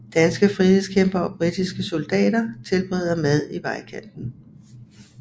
Danske frihedskæmpere og britiske soldater tilbereder mad i vejkanten